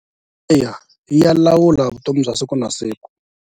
Eya ya lawula vutomi bya siku na siku.